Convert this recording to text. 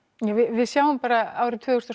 við sjáum bara árið tvö þúsund og